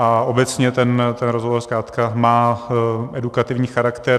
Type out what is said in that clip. A obecně ten rozhovor zkrátka má edukativní charakter.